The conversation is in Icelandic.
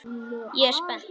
Ég er spennt.